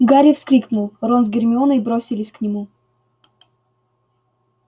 гарри вскрикнул рон с гермионой бросились к нему